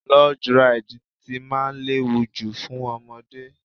Log Ride tí máa léwu jù fún ọmọdé.